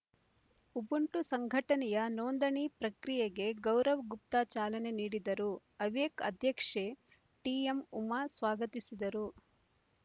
Ubuntu ಸಂಘಟನೆಯ ನೋಂದಣಿ ಪ್ರಕ್ರಿಯೆಗೆ ಗೌರವ್‌ಗುಪ್ತಾ ಚಾಲನೆ ನೀಡಿದರು ಅವೇಕ್ ಅಧ್ಯಕ್ಷೆ ಟಿಎಂ ಉಮಾ ಸ್ವಾಗತಿಸಿದರು